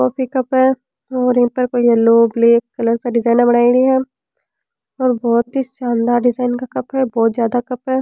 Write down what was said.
Coffee cup है और यहाँ पर येलो ब्लेक कलर का डिजाइना बनायेड़ी है और बहुत ही शानदार डिजाइन का कप है बहुत ज्यादा कप है।